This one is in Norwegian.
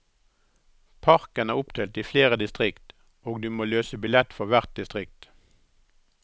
Parken er oppdelt i flere distrikt og du må løse billett for hvert distrikt.